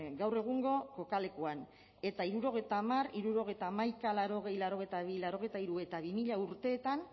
gaur egungo kokalekuan eta hirurogeita hamar hirurogeita hamaika laurogei laurogeita bi laurogeita hiru eta bi mila urteetan